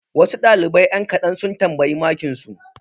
Wasu ɗalibai ƴan kaɗan sun tambayi makinsu.